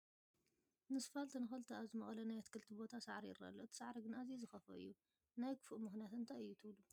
ንስፋልት ንኽልተ ኣብ ዝመቐለ ናይ ኣትክልቲ ቦታ ሳዕሪ ይርአ ኣሎ፡፡ እቲ ሳዕሪ ግን ኣዝዩ ዝኸፍኦ እዩ፡፡ ናይ ክፋኡ ምኽንያት እንታይ እዩ ትብሉ?